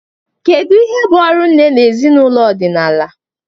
Kedu ihe bụ ọrụ nne na ezinụlọ ọdịnala?